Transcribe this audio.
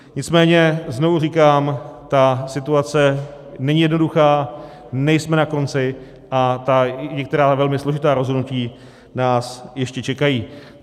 Nicméně znovu říkám, ta situace není jednoduchá, nejsme na konci a některá velmi složitá rozhodnutí nás ještě čekají.